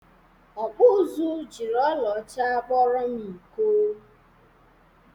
Ọkpụ ụzụ jiri ọla ọcha kpụrọ m iko.